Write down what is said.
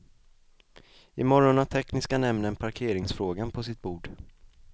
Imorgon har tekniska nämnden parkeringsfrågan på sitt bord.